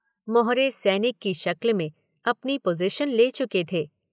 मोहरे सैनिक की शक्ल में अपनी पोज़ीशन ले चुके थे।